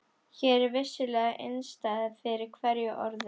Hér er vissulega innistæða fyrir hverju orði.